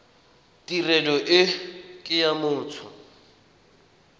tirelo e ke ya motho